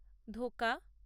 ধোকা